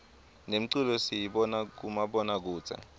nemculo siyibona kumabona kudze